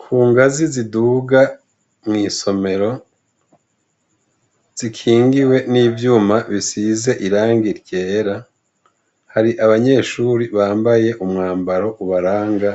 Ku ngazi ziduga mw'isomero zikingiwe n'ivyuma bisize iranga ityera hari abanyeshuri bambaye umwambaro ubaranga